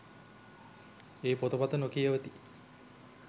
ඒ පොතපත නොකියවති